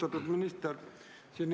Austatud minister!